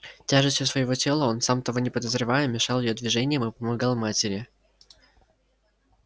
тяжестью своего тела он сам того не подозревая мешал её движениям и помогал матери